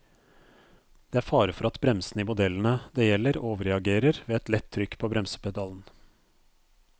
Det er fare for at bremsene i modellene det gjelder overreagerer ved et lett trykk på bremsepedalen.